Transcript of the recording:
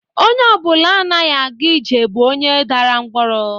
Onye ọ bụla anaghị aga ije bụ onye dara ngwọrọ